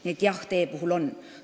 Nii et jah, tee-ehituse puhul võib.